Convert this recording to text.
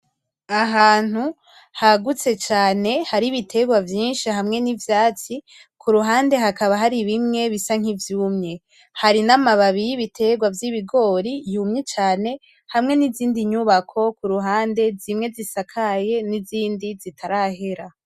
Ahantu hagutse cane hari ibitegwa vyinshi, hamwe n'ivyatsi kuruhande hakaba hari bimwe bisa nk'ivyumye hari n'amababi y'ibitegwa vy'ibigori yumye cane, hamwe n'izindi nyubako kuruhande zimwe zisakaye n'izindi zitarahera.